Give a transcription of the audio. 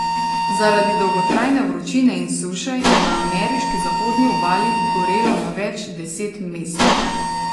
Zaradi dolgotrajne vročine in suše je na ameriški zahodni obali gorelo na več deset mestih.